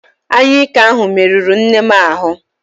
Anyụike ahụ merụrụ nnem ahụ